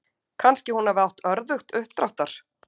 Kannski hún hafi átt örðugt uppdráttar.